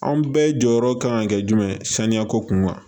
Anw bɛɛ jɔyɔrɔ kan ka kɛ jumɛn ye saniya ko kun kan